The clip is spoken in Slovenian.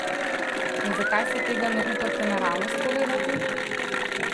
In zakaj si tega ne upate naravnost povedati?